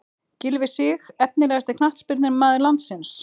Gylfi Sig Efnilegasti knattspyrnumaður landsins?